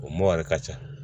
O mɔyɛri ka ca